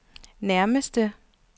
nærmeste